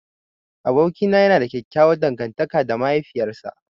Abokina yana da ƙyaƙƙyawan dangantaka da mahaifiyar sa.